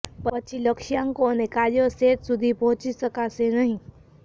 પછી લક્ષ્યાંકો અને કાર્યો સેટ સુધી પહોંચી શકાશે નહીં